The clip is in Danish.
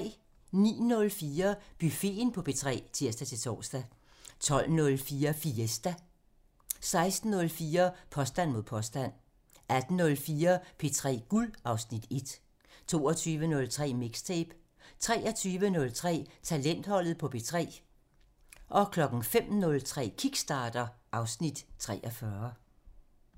09:04: Buffeten på P3 (tir-tor) 12:04: Fiesta (Afs. 50) 16:04: Påstand mod påstand (Afs. 163) 18:04: P3 Guld (Afs. 1) 22:03: Mixtape 23:03: Talentholdet på P3 (Afs. 40) 05:03: Kickstarter (Afs. 43)